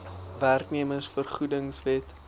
werknemers vergoedings wet